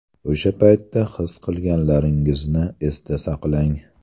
O‘sha paytda his qilganlaringizni esda saqlang.